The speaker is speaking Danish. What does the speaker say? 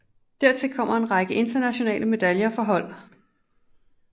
Dertil kommer en række internationale medaljer for hold